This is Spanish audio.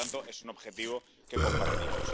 Por lo tanto, es un objetivo que compartimos.